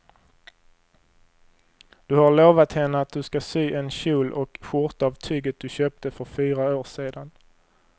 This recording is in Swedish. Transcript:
Du har lovat henne att du ska sy en kjol och skjorta av tyget du köpte för fyra år sedan.